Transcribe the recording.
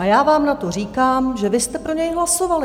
A já vám na to říkám, že vy jste pro něj hlasovali.